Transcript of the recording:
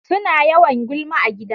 Suna yawan gulma a gida.